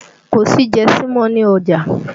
Kò sí jẹsí mọ́ ni ọjà